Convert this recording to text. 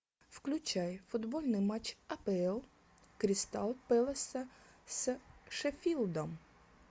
включай футбольный матч апл кристал пэласа с шеффилдом